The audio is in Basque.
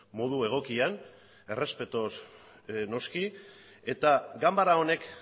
modu egokian errespetuz noski eta ganbara honek